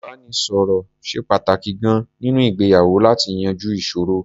Ìbánisọ̀rọ̀ ṣe pàtàkì gan-an nínú ìgbéyàwó láti yanjú ìṣòro.